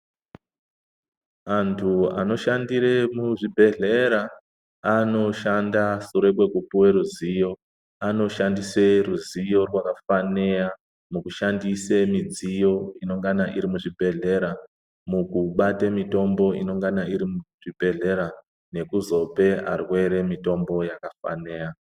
Antu anoshandire muzvibhedhlera, anoshanda sure kwekupuwe ruziyo. Anoshandise ruziyo rwakafaneya mukushandise midziyo inongana irimuzvibhedhlera, mukubate mitombo inongana irimuzvibhedhlera nekuzope arwere mitombo yakafaneya.